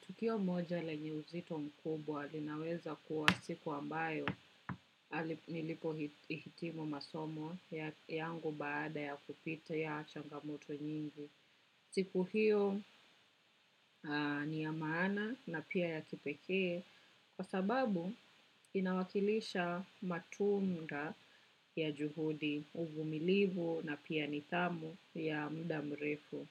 Tukio moja lenye uzito mkubwa linaweza kuwa siku ambayo nilipo hitimu masomo yangu baada ya kupitia ya changamoto nyingi. Siku hiyo ni ya maana na pia ya kipekee kwa sababu inawakilisha matunda ya juhudi uvumilivu na pia nidhamu ya muda mrefu.